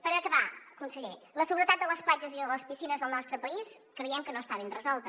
per acabar conseller la seguretat de les platges i de les piscines del nostre país creiem que no està ben resolta